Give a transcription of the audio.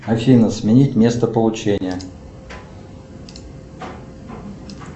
афина сменить место получения